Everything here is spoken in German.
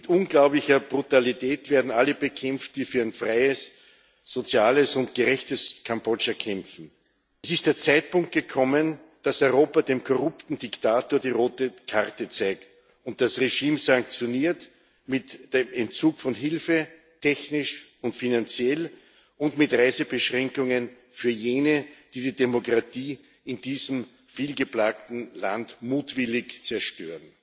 Mit unglaublicher Brutalität werden alle bekämpft, die für ein freies, soziales und gerechtes Kambodscha kämpfen. Es ist der Zeitpunkt gekommen, dass Europa dem korrupten Diktator die rote Karte zeigt und das Regime sanktioniert mit dem Entzug von Hilfe technisch und finanziell und mit Reisebeschränkungen für jene, die die Demokratie in diesem viel geplagten Land mutwillig zerstören.